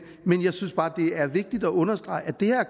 men jeg synes bare at det er vigtigt at understrege at det at